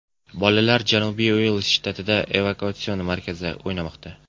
Bolalar Janubiy Uels shtatidagi evakuatsion markazda o‘ynamoqda.